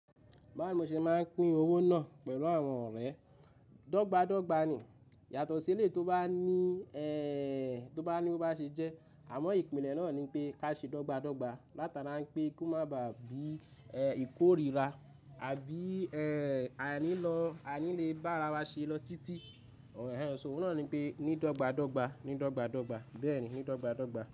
Báwo mo ṣe máa ń pín owó náà pẹ̀lú àwọn ọ̀rẹ́? Dọ́gba dọ́gba ni. Yàtọ̀ sí eleyi tó bá ní ẹ, tó bá ní ó bá ṣe jẹ́. Àmọ́ ìpìlẹ̀ náà ni pé ká ṣe dọ́gba dọ́gba. Látara wipé kó má bá bí i e, ìkórìíra àbí ẹ, a ní lọ, a ní le bá ara wa ṣe lọ títí. Òòrè ẹ, òun náà ni pé ní dọ́gba dọ́gba, ní dọ́gba dọ́gba, bẹ́ẹ̀ni, ní dọ́gba dọ́gba.